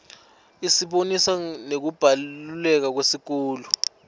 isibonisa nekubaluleka kwesikolo